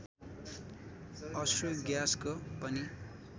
अश्रु ग्याँसको पनि